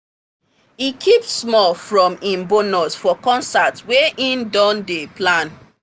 e keep small from him bonus for concert wey he don dey plan